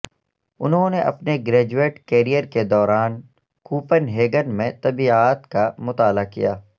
انہوں نے اپنے گریجویٹ کیریئر کے دوران کوپن ہیگن میں طبیعیات کا مطالعہ کیا